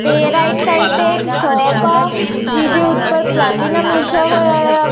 ਤੇ right side ਤੇ ਇੱਕ ਸ਼ੋਪ ਆ ਜਿਹਦੇ ਉੱਪਰ ਪਲੈਟੀਨਮ ਲਿਖਿਆ ਹੋਇਆ ਆ।